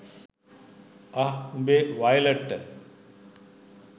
අහ් උඹේ වයලට්ට